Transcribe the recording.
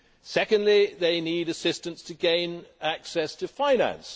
Secondly, they need assistance to gain access to finance.